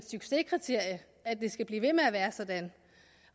succeskriterium at det skal blive ved med at være sådan